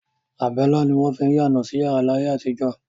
Àbẹ́lá ni wọ́n fín yáná sí yàrá ni ayé àtijọ́.